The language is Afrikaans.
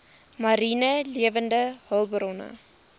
mariene lewende hulpbronne